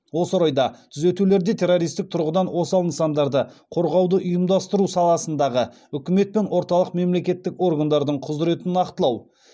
осы орайда түзетулерде террористік тұрғыдан осал нысандарды қорғауды ұйымдастыру саласындағы үкімет пен орталық мемлекеттік органдардың құзыретін нақтылау